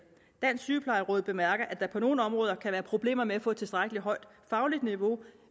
dansk sygeplejeråd bemærker at der på nogle områder kan være problemer med at få et tilstrækkelig højt fagligt niveau